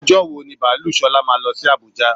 Ọjọ́ wo ní baalú Ṣọlá máa lọ sí àbújá?